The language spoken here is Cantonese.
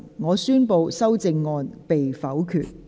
我宣布修正案被否決。